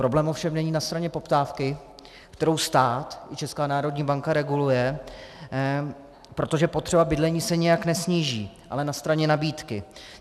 Problém ovšem není na straně poptávky, kterou stát i Česká národní banka reguluje, protože potřeba bydlení se nijak nesníží, ale na straně nabídky.